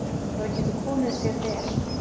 Það getur komið sér vel.